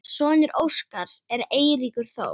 Sonur Óskars er Eiríkur Þór.